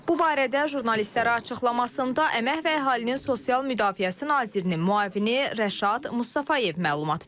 Bu barədə jurnalistlərə açıqlamasında Əmək və Əhalinin Sosial Müdafiəsi nazirinin müavini Rəşad Mustafayev məlumat verib.